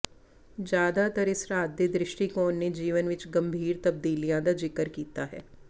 ਜ਼ਿਆਦਾਤਰ ਇਸ ਰਾਤ ਦੇ ਦ੍ਰਿਸ਼ਟੀਕੋਣ ਨੇ ਜੀਵਨ ਵਿਚ ਗੰਭੀਰ ਤਬਦੀਲੀਆਂ ਦਾ ਜ਼ਿਕਰ ਕੀਤਾ ਹੈ